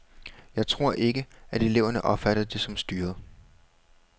Jeg tror ikke, at eleverne opfatter det som styret.